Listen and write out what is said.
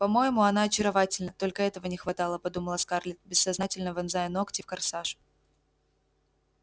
по-моему она очаровательна только этого не хватало подумала скарлетт бессознательно вонзая ногти в корсаж